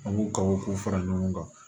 An b'u ka o k'u fara ɲɔgɔn kan